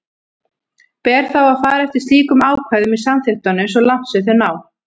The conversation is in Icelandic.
Ber þá að fara eftir slíkum ákvæðum í samþykktunum svo langt sem þau ná.